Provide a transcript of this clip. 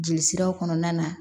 Jeli siraw kɔnɔna na